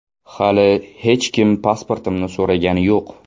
Hali hech kim pasportimni so‘ragani yo‘q.